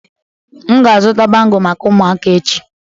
M ga-azụta bangle maka ụmụaka echi